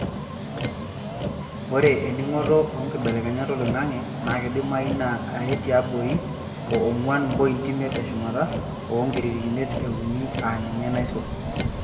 Ore eningoto oonkibelekenyat oloing'ange naa keidimayu naa are tiabori oo ongwan mpoiti imeit teshumata o enkiririkinet e uni aa ninye naisul.